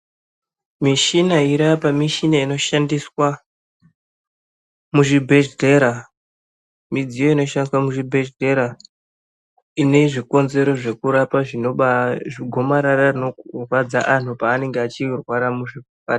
Michina irapa mishina inoshandiswa muzvibhedhlera midziyo inoshandiswa muzvibhedhlera ine zvikonzero zvekurapa zvinobaa zvigomarara rinorwadza antu paanenge achirwara muzvipa.